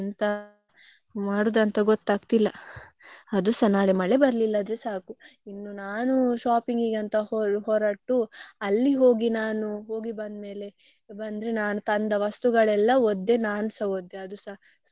ಮಳೆ ಬರ್ಲಿಲ್ಲ ಆದ್ರೆ ಸಾಕು ಇನ್ನು ನಾನು shopping ಇಗೆ ಅಂತ ಹೊ~ ಹೊರಟು ಅಲ್ಲಿ ಹೋಗಿ ನಾನು ಹೋಗಿ ಬಂದ್ಮೇಲೆ. ಬಂದ್ರೆ ನಾನು ತಂದ ವಸ್ತುಗಳಲ್ಲ ಒದ್ದೆ ನನ್ಸ ಒದ್ದೆ ಅದುಸ scooty ಅಲ್ಲಿ ಬರುವಾಗ ನಾಳೆ ಒಂದು ಬಿಸಿಲಿದ್ರೆ ಸಾಕು.